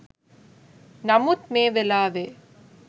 නමුත් මේ වෙලාවේ